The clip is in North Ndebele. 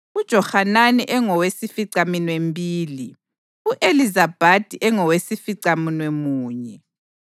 uJohanani engowesificaminwembili, u-Elizabhadi engowesificamunwemunye,